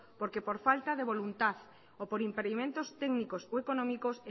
porque por falta de voluntad o por impedimentos técnicos o económicos